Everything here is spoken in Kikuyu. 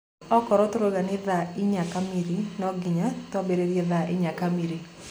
Okorwo tũrauga ni thaa inya kamiri no nginya tũambiririe thaa inya kamiri.